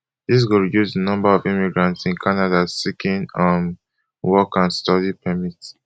dis go reduce di number of immigrant in canada seeking um work and study permit